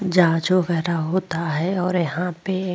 जांच वगैरा होता है और यहां पे --